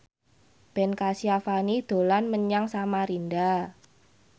Ben Kasyafani dolan menyang Samarinda